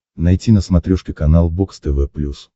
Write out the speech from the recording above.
найти на смотрешке канал бокс тв плюс